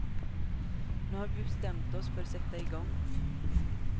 Nu har vi bestämt oss för sätta i gång.